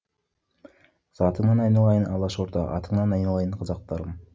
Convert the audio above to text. затыңнан айналайын алашорда атыңнан айналайын қазақтарым